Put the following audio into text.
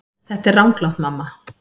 Þetta er ranglátt mamma.